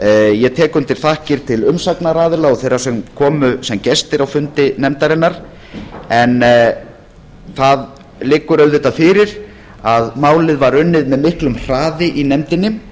ég tek undir þakkir til umsagnaraðila og þeirra sem komu sem gestir á fundi nefndarinnar en það liggur auðvitað fyrir að málið var unnið með miklum hraði í nefndinni